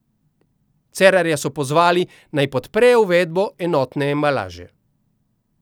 Cerarja so pozvali, naj podpre uvedbo enotne embalaže.